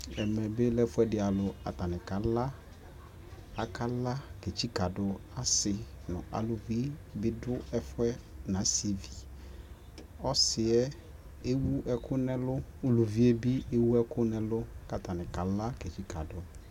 ɛmɛ bi lɛ ɛƒʋɛdi alʋ, atani kala ,akala kɛ tsikadʋ asii nʋ alʋvi bidʋ ɛƒʋɛ nʋ asiivi, ɔsiiɛ ɛwʋ ɛkʋ nʋ ɛlʋ, ʋlʋviɛ bi ɛwʋ ɛkʋ nʋ ɛlʋ kʋ atani kala kɛ tsikadʋ.